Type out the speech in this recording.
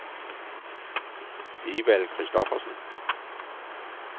Evald Christophersen